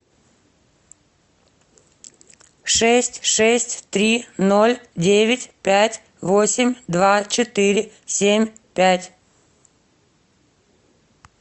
шесть шесть три ноль девять пять восемь два четыре семь пять